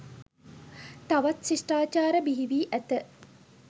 තවත් ශිෂ්ටාචාර බිහිවී ඇත.